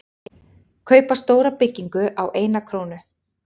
Kaupa stóra byggingu á eina krónu